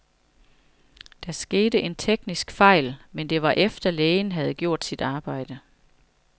Der skete en teknisk fejl, men det var efter, lægen havde gjort sit arbejde.